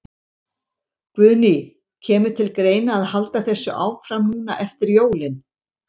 Guðný: Kemur til greina að halda þessu áfram núna eftir jólin?